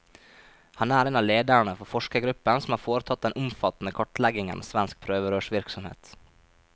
Han er en av lederne for forskergruppen som har foretatt den omfattende kartleggingen av svensk prøverørsvirksomhet.